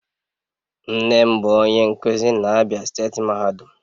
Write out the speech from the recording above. Nne m bu onye nkuzi na Abia steeti mahadum